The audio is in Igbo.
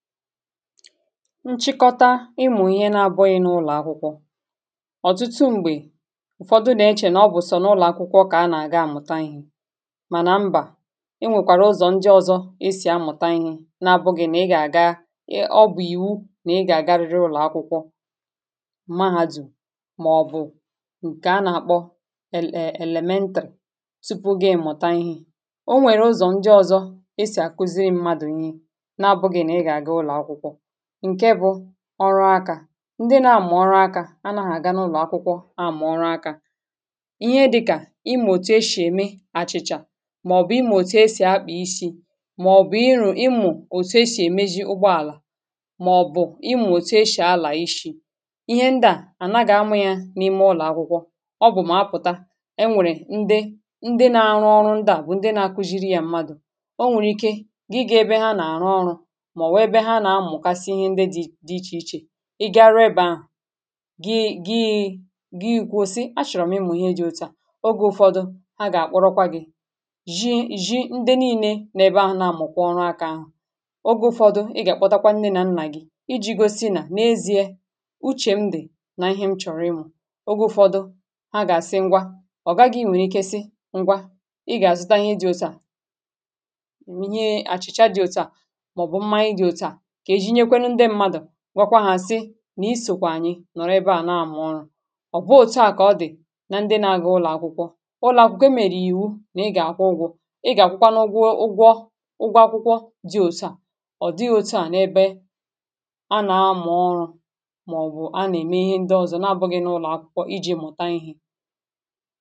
nchịkọta ịmụ̀ ihe na-abụghị̇ n’ụlọ̀ akwụkwọ̇ ọ̀tụtụ m̀gbè ụ̀fọdụ nà-echè nà ọ bụ̀sọ̀ n’ụlọ̀ akwụkwọ̇ kà a nà-àga mụ̀ta ihė mànà mbà enwèkwàrà ụzọ̀ njọzọ̇ esì a mụ̀ta ihė nà-abụghị̇ nà ị gà-àga ọ bù iwu nà ị gà-àgarịrị ụlọ̀ akwụkwọ̇ mahadù màọ̀bụ̀ ǹkè a nà-àkpọ ele..è..èlèmentèrè tupu ga-èmụta ihė o nwèrè ụzọ̀ njọzọ̇ esì àkuzi mmadụ̀ nyi ọrụ akȧ ndị na-amà ọrụ akȧ anaghị̇ àganụlọ̀ akwụkwọ anà-amà ọrụ akȧ ihe dịkà ịmụ̇ òtù eshì ème àchị̀chà màọ̀bụ̀ ịmụ̇ òtù eshì akpị̀ isi màọ̀bụ̀ ịrụ̇ ịmụ̇ òtù eshì èmezi ụgbọàlà màọ̀bụ̀ ịmụ̇ òtù eshì àlà ishi̇ ihe ndaà ànaghị̇ amụ̇ yȧ n’ime ụlọ̀ akwụkwọ ọ bụ̀ mà apụ̀ta e nwèrè ndị ndị na-arụ ọrụ ndaà bụ̀ ndị na-akuziri yȧ mmadụ̀ o nwèrè ike gị ga ebe ha nà-àrụ ọrụ̇ ọ gaghị̇ nwèrè ike si gwekwa hȧ sị nà isìkwà ànyị nọ̀rọ ebe à na-àmụ ọrụ ọ̀ bụ òtu à kà ọ dị̀ na ndị nȧ-ȧgȧ ụlọ̀akwụkwọ ụlọ̀akwụkwọ mèrè ìwu nà ị gà-àkwụ ụgwọ ị gà-àkwụkwa n’ ụgwọ ụgwọ akwụkwọ dị òtu à ọ̀ dị òtu à n’ ebe anà-amụ̀ ọrụ mà ọ̀ bụ̀ anà-ème ihe ndị ọzọ̀ nà-abụghị̇ n’ ụlọ̀ akwụkwọ iji̇ mụ̀ta ihė